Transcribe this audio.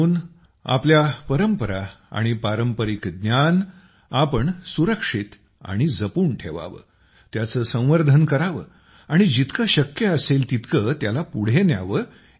म्हणून आम्ही आपल्या परंपरा आणि पारंपरिक ज्ञान सुरक्षित आणि जपून ठेवावं त्याचं संवर्धन करावं आणि जितकं शक्य असेल तितकं त्याला पुढे न्यावं